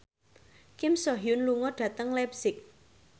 Kim So Hyun lunga dhateng leipzig